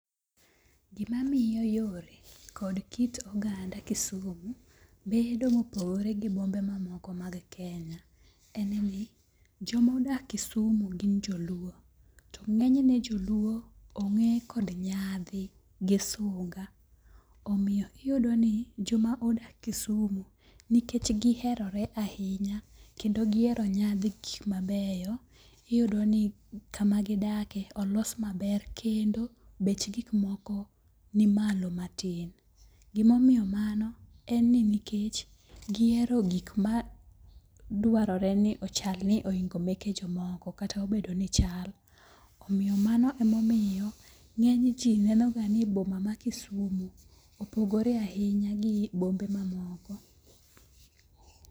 Gimamiyo yore kod kit oganda Kisumu bedo mopogore gi bombe mamokomag Kenya en ni, jomodak Kisumu gi joluo. To ng'eny ne joluo ong'e kod nyadhi gi sunga. Omiyo iyudo ni joma odak Kisumu nikech giherore ahinya kendo gihero nyadhi gin gik mabeyo, iyudo ni kamagidakie olos maber kendi bech gik moko ni malo matin. Gimomiyo mano en ni nikech gihero gik ma dwarore ni ochal ni ohingo meke jomoko kata obedo ni chal. Omiyo mano emomiyo, ng'eny ji neno ga ni boma ma Kisumu opogore ahinya gi bombe mamoko.